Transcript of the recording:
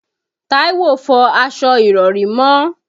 Táíwò fọ aṣọ ìrọ̀rí mọ́.